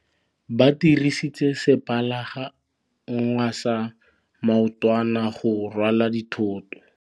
Ba dirisitse sepalangwasa maotwana go rwala dithôtô.